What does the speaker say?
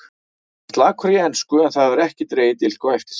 Var slakur í ensku en það hefur ekki dregið dilk á eftir sér.